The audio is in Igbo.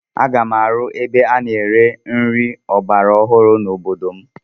Aga m arụ ebe a na-ere nri ọgbara ọhụrụ n'obodo m.